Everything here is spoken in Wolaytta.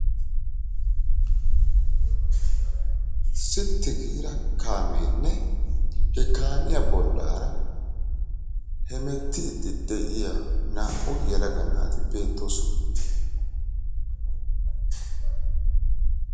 Sitti giiraa kaameenne he kaamiya bollaraa hemettiidi de'iya naa"u yelaga naati beettoosona.